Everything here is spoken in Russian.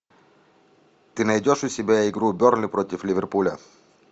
ты найдешь у себя игру бернли против ливерпуля